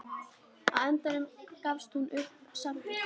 Á endanum gafst hún samt upp.